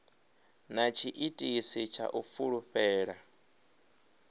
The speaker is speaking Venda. na tshiitisi tsha u fulufhela